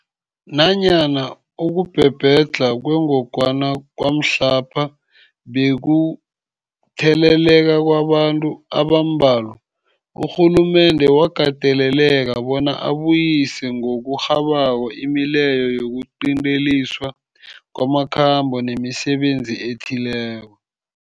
Nanyana ukubhebhedlha kwengogwana kwamhlapha bekukutheleleka kwabantu abambalwa, urhulumende wakateleleka bona abuyise ngokurhabako imileyo yokuqinteliswa kwamakhambo nemisebenzi ethileko.